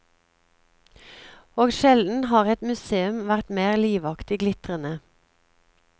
Og sjelden har et museum vært mer livaktig glitrende.